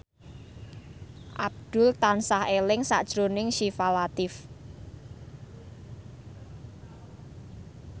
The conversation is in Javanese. Abdul tansah eling sakjroning Syifa Latief